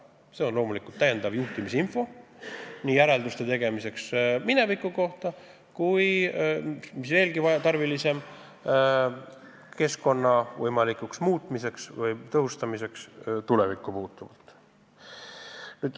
See on täiendav juhtimiseks vajalik info nii järelduste tegemiseks minevikus toimunu kohta kui ka, mis veelgi tarvilisem, keskkonna tõhustamiseks tulevikus.